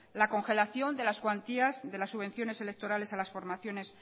la congelación de las cuantías de las subvenciones electorales a las formaciones